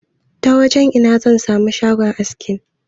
Ta wajan ina zan sami shagon aski?